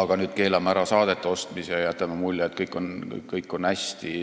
aga nüüd keelame ära saadete ostmise ja jätame mulje, et kõik on hästi.